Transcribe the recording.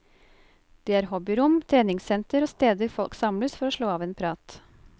Det er hobbyrom, treningssenter og steder folk samles for å slå av en prat.